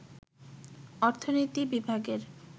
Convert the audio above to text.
অর্থনীতি বিভাগের